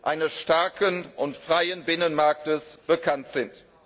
eines starken und freien Binnenmarktes bekannt sind.